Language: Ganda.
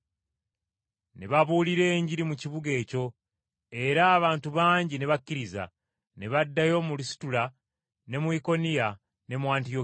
Ne babuulira Enjiri mu kibuga ekyo, era abantu bangi ne bakkiriza. Ne baddayo mu Lusitula, ne mu Ikoniya, ne mu Antiyokiya,